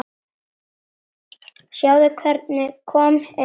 Sjáðu hvernig komið er.